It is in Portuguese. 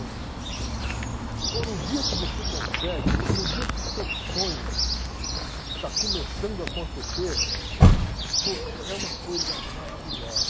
Pô, no dia que você consegue, no no dia que o seu sonho está começando a acontecer, pô, é é é uma coisa maravilhosa.